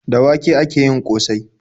Da wake ake yin ƙosai.